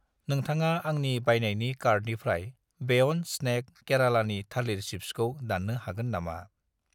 नोंथाङा आंनि बायनायनि कार्टनिफ्राय बेयन्द स्नेक केरालानि थालिर चिप्सखौ दान्नो हागोन नामा?